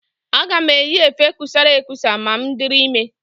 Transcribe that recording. Aga m eyi efe kusara ekusa ma m dịrị ime.